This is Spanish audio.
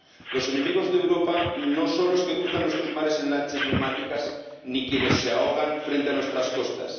Los enemigos de Europa no son los que cruzan nuestros mares en lanchas neumáticas ni quienes se ahogan frente a nuestras costas.